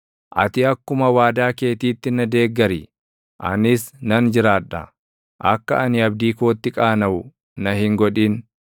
Ati akkuma waadaa keetiitti na deeggari; // anis nan jiraadha; akka ani abdii kootti qaanaʼu na hin godhin.